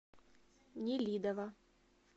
нелидово